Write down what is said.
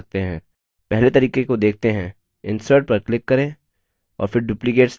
पहले तरीके को देखते हैं insert पर click करें और फिर duplicate slide पर click करें